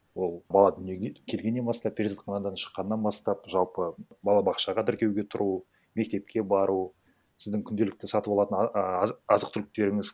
ол бала дүниеге келгеннен бастап перзентханадан шыққаннан бастап жалпы балабақшаға тіркеуге тұру мектепке бару сіздің күнделікті сатывалатын а азық түліктеріңіз